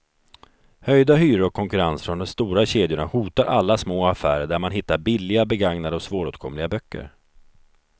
Höjda hyror och konkurrens från de stora kedjorna hotar alla små affärer där man hittar billiga, begagnade och svåråtkomliga böcker.